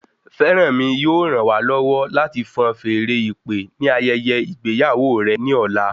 Feranmi yóò ràn wá lọwọ láti fan feèrè ìpè ni ayẹyẹ ìgbéyàwó rẹ ní ọ̀la